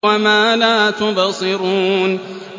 وَمَا لَا تُبْصِرُونَ